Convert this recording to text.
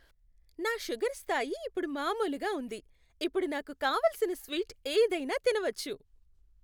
నా షుగర్ స్థాయి ఇప్పుడు మామూలుగా ఉంది, ఇప్పుడు నాకు కావలసిన స్వీట్ ఏదైనా తినవచ్చు